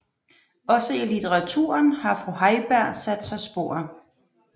Også i litteraturen har fru Heiberg sat sig spor